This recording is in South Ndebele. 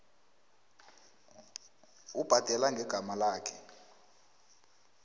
ubhadela ngegama lakhe